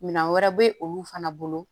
Minan wɛrɛ be olu fana bolo